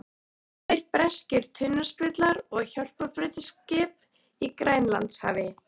Tveir breskir tundurspillar og hjálparbeitiskip í Grænlandshafi.